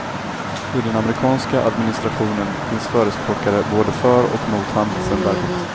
I den amerikanska administrationen finns förespråkare både för och mot handelsembargot.